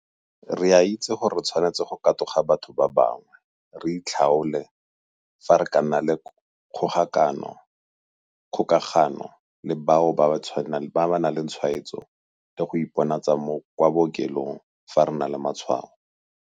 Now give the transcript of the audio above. Re a itse gore re tshwanetse go katoga batho ba bangwe, re itlhaole fa re ka nna le kgokagano le bao ba nang le tshwaetso le go iponatsa kwa bookelong fa re na le matshwao.